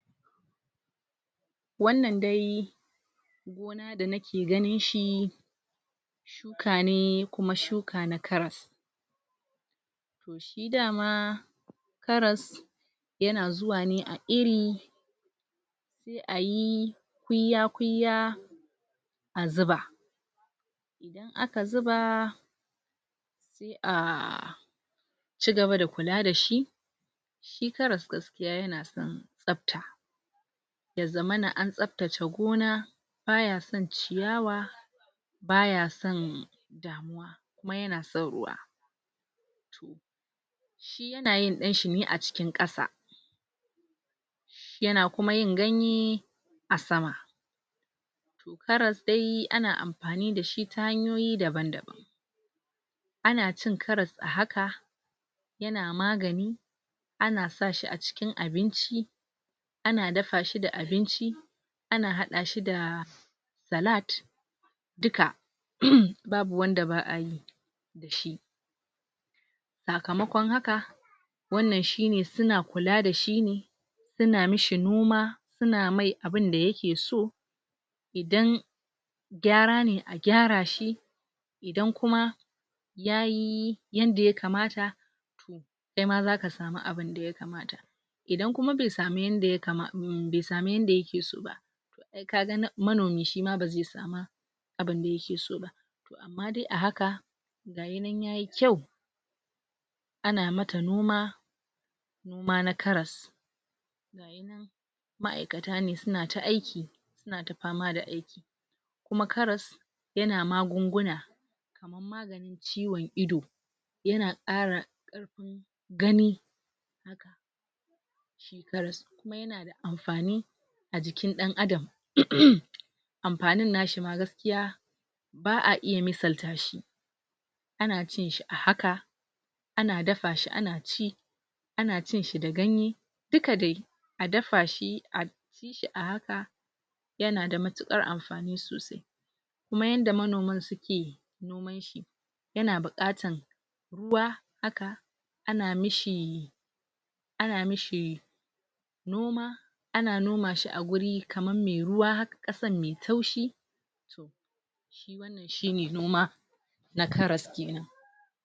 wannan dai gona danake ganin shi shuka ne kuma shukane na karas to shi dama karas yana zuwa ne a iri sai ayi kuyya kuyya azuba idan aka zuba sai a cigaba da kula dashi shi karas gaskiya yanason tsafta yazamana an tsaftace gona bayason ciyawa baya san damuwa kuma yana son ruwa, to, shi yanayin danshine a cikin kasa yana kuma yin ganye asama to karas de ana amfani dashi ta hanyoyi daban daban ana cin karas ahaka yana magani ana sa shi acikin abinci ana dafashi da abinci ana hadashi da salat duka babu wanda ba'ayi dashi sakamakon haka wannan shine suna kula dashine suna mishi noma suna mai abinda yake so idan gyara ne a gyara shi idan kuma yayi yanda ya kamata to kaima zaka samu abinda ya kamata idan kuma be samu yanda ya kama um be samu yanda yake soba ai kaga na manomi shima beze sama abunda yakesoba amma de ahaka gayi nan yayi kyau ana mata noma noma na karas gayi nan ma'aikata ne sunata aiki sunata fama da aiki kuma karas yana magunguna kaman maganin ciwon ido yana kara karfin gani haka shi karas kuma yana da amfani ajikin dan Adam amfanin nashi ma gaskiya ba'a iya misaltashi ana cinshi ahaka ana dafashi ana ci ana cinshi da ganye duka de adafashi aci shi a ahaka yanada matukar amfani sosai kuma yanda manoman suke noman shi yana bukatan ruwa haka ana mishi ana mishi noma ana noma shi a guri kaman mai ruwa haka kasan mai taushi to shi wannan shine noma na karas kenan